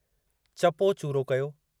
चपो चूरो कयो।